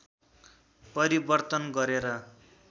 परिवर्तन गरेर